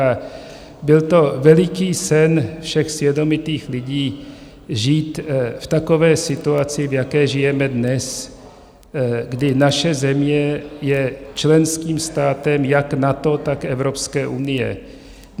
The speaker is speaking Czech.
A byl to veliký sen všech svědomitých lidí žít v takové situaci, v jaké žijeme dnes, kdy naše země je členským státem jak NATO, tak Evropské unie.